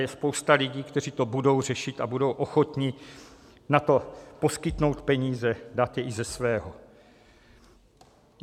Je spousta lidí, kteří to budou řešit a budou ochotni na to poskytnout peníze, dát je i ze svého.